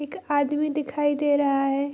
एक आदमी दिखाई दे रहा है।